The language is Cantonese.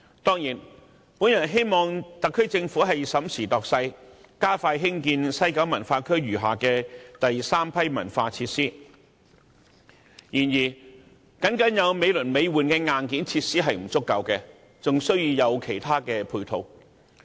當然，我希望特區政府審時度勢，加快興建西九文化區餘下的第三批文化設施，然而，僅有美輪美奐的硬件設施是不足夠的，還需要其他配套。